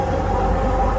Həyyə ələs-səlah.